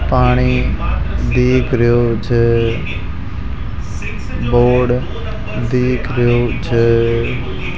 पानी दिख रहे छे बोर्ड दिख रहे छे --